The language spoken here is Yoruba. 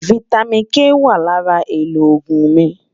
fìtámín K wà lárà èlò ògún mí